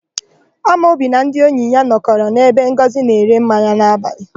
Amobi na ndị enyi ya nọkọrọ n'ebe Ngọzị na-ere mmanya n'abalị.